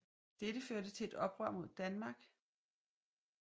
Dette førte til et oprør mod Danmark og den 1